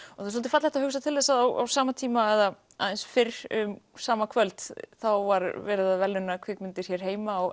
það er svolítið fallegt að hugsa til þess að á sama tíma eða aðeins fyrr um sama kvöld þá var verið að verðlauna kvikmyndir hér heima á